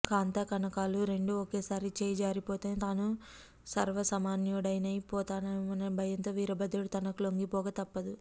కాంతాకనకాలు రెండూ ఒకేసారి చేయిజారిపోతే తాను సర్వసామాన్యుడనై పోతానేమోననే భయంతో వీరభద్రుడు తనకు లొంగిపోక తప్పదు